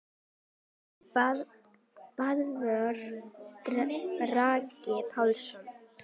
Nafn: Böðvar Bragi Pálsson